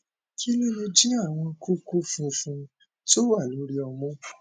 kí ló lè jẹ àwọn kókó funfun tó wà lórí ọmú